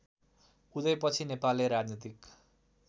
उदयपछि नेपालले राजनीतिक